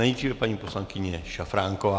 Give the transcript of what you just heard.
Nejdříve paní poslankyně Šafránková.